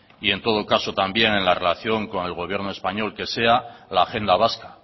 y en todo caso también en la relación con el gobierno español que sea la agenda vasca